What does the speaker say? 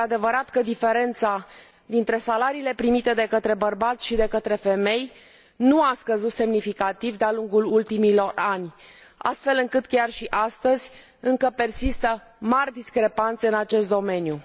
Este adevărat că diferența dintre salariile primite de către bărbați și de către femei nu a scăzut semnificativ de a lungul ultimilor ani, astfel încât chiar și astăzi încă persistă mari discrepanțe în acest domeniu.